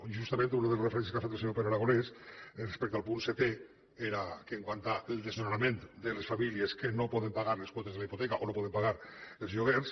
i justament una de les referències que ha fet el senyor pere aragonès respecte al punt setè era que quant al desnonament de les famílies que no poden pagar les quotes de les hipoteques o no poden pagar els lloguers